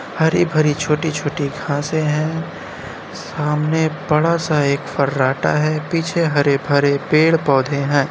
हरी-भरी छोटी-छोटी घासें हैं। सामने बड़ा सा एक फर्राटा है। पीछे हरे-भरे पेड़ पौधे हैं।